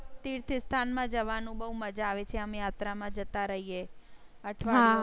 તીર્થ સ્થાન માં જવા નું બહુ મજા આવે છે. આમ યાત્રા માં જતા રહીએ અઠવાડીયા.